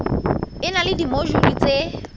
e na le dimojule tse